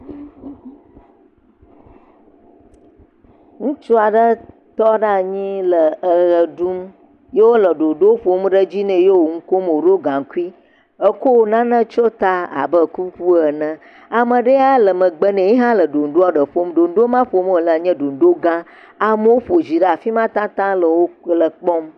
Ŋutsu aɖe tɔ ɖe anyi le eɣe ɖum ye wole ɖoɖo ƒom ɖe dzi ne yewo nukom, ye woɖo gankui etsɔ nane tsɔe ta abe kuku ene. Ame ɖe ya le megbe ne ye hã le ɖe ɖonɖoŋ. Ɖoŋdoŋ maa ƒom wòle nye ɖoŋdoŋ gã. Woƒo zi ɖe afima tatataŋ le wò, le kpɔm.